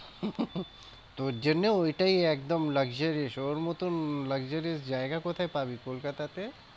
তোর জন্য ওটাই একদম luxurious ওর মতন luxurious জায়গা কোথায় পাবি কলকাতাতে?